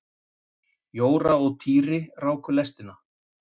Jóra og Týri ráku lestina.